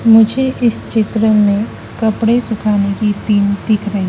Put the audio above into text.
मुझे इस चित्र में कपड़े सुखाने की पिन दिख रही--